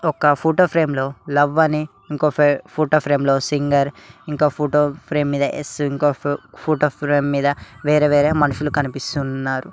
ఒక photo frame లో love అని ఇంకో ఫోటో ఫ్రేమ్ లో సింగర్ ఇంకో ఫోటో ఫ్రేమ్ మీద ఎస్ ఇంకో ఫోటో ఫ్రేమ్ మీద వేరే వేరే మనుషులు కనిపిస్తున్నారు.